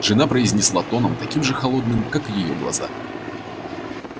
жена произнесла тоном таким же холодным как и её глаза